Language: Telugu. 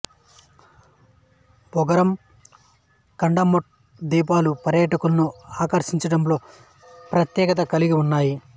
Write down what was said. బంగరమ్ కడమట్ ద్వీపాలు పర్యాటకులను ఆకర్షించడంలో ప్రత్యేకత కలిగి ఉన్నాయి